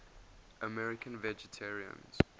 american vegetarians